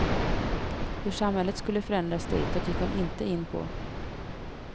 Hur samhället skulle förändras ditåt gick hon inte in på.